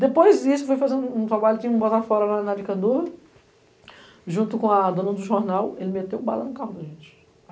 Depois disso, eu fui fazer um trabalho que tinha um botafório lá na Avicandor, junto com a dona do jornal, ele meteu bala no carro da gente.